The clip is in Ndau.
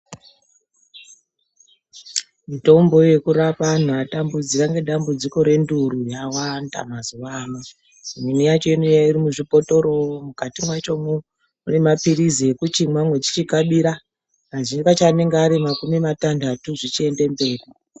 Mitombo yekurapa antu atambudzika nedambudziko renduru yawanda mazuva ano imweni yacho inouya iri muzvibhotoro mukati macho mune mapirizi ekuchimwa uchikabira kazhinji kacho anenge Ari makumi matanhatu zvichienda mberi.